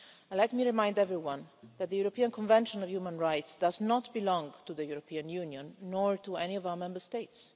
Let me remind everyone that the European Convention on Human Rights does not belong to the European Union nor to any of our Member States.